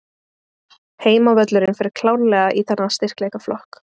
Heimavöllurinn fer klárlega í þennan styrkleikaflokk.